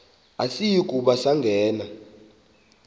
asiyi kuba sangena